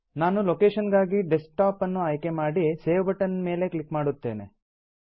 ನಾನು ಲೊಕೇಶನ್ ಗಾಗಿ ಡೆಸ್ಕ್ಟಾಪ್ ಅನ್ನು ಆಯ್ಕೆ ಮಾಡಿ ಸೇವ್ ಬಟನ್ ನ ಮೇಲೆ ಕ್ಲಿಕ್ ಮಾಡುತ್ತೇನೆ